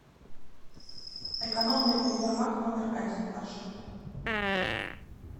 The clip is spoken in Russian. экономный универмаг номер один маршрут